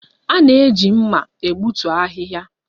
A na-eji mma egbutu ahịhịa